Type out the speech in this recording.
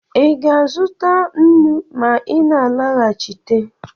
Ị ga-azụta nnu ma ị na-alọghachite?